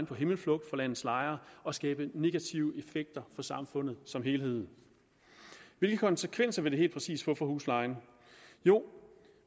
på himmelflugt for landets lejere og skabe negative effekter for samfundet som helhed hvilke konsekvenser vil det helt præcist få for huslejen jo